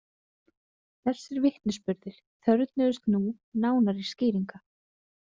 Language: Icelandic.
Þessir vitnisburðir þörfnuðust nú nánari skýringa.